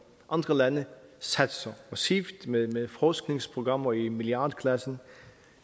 andre lande satser massivt med med forskningsprogrammer i milliardklassen